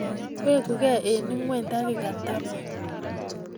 Weguke eng ingweny takika taman---